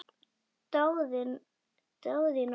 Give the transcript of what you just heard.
Daðína hló.